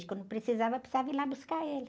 Quando precisava, precisava ir lá buscar ele.